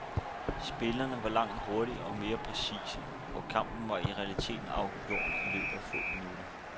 Spillerne var langt hurtigere og mere præcise, og kampen var i realiteten afgjort i løbet af få minutter.